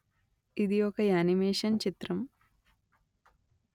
ఇది ఒక యానిమేషన్ చిత్రం